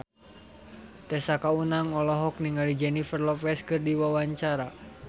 Tessa Kaunang olohok ningali Jennifer Lopez keur diwawancara